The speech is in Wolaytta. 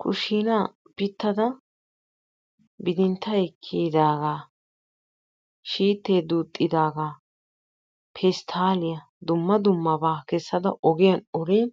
kushiinaa pitada bidintay kiyidaaga shiitee duuxidaaga pestaaliya dumma dummaba kesada ogiyan olin